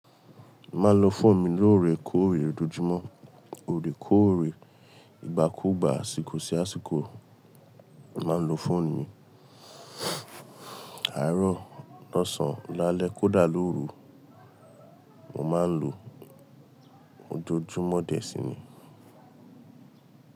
Maa n lo fóònù mi lóorekóóre, ojoojúmọ́, óòrèkóórè, ìgbà kugbà, àsìkò sí àsìkò. Màá n lo fóònù mi àárọ̀, lọ́sàn, lálẹ́, kódà lóru. Mo maa n lo ojoojúmọ́ dẹ̀ síni.